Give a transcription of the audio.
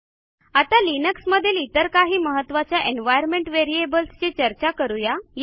आता लिनक्समधील इतर काही महत्त्वाच्या एन्व्हायर्नमेंट व्हेरिएबल्स ची चर्चा करू या